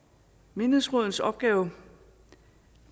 menighedsrådenes opgave